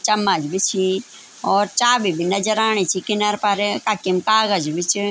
चम्मच भी छीं और चाबी भी नजर आणि च किनर पर कखिम कागज भी च।